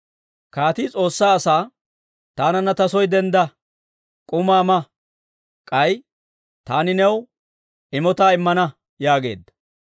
Kaatii S'oossaa asaa, «Taananna ta soo dendda; K'umaa ma. K'ay taani new imotaa immana» yaageedda.